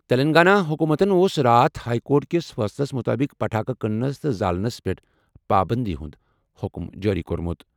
تیٚلنٛگانہ حُکوٗمتَن اوس راتھ ہائی کورٹ کِس فٲصلَس مُطٲبِق پٹاخہٕ کٕننَس تہٕ زالنس پٮ۪ٹھ پابٔنٛدی ہُنٛد حُکُم جٲری کوٚرمُت۔